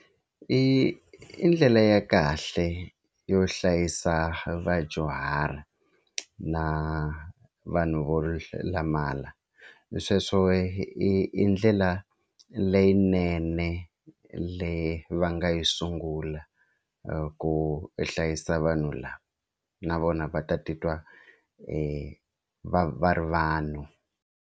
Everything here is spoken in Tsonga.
I i ndlela ya kahle yo hlayisa vadyuhari na vanhu vo lamala sweswo i i ndlela leyinene le va nga yi sungula ku hlayisa vanhu lava na vona va ta titwa va va ri vanhu.